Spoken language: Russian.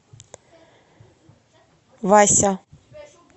вася